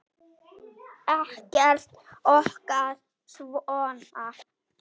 Ekkert okkar er svona.